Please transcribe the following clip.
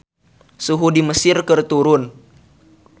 Suhu di Mesir keur turun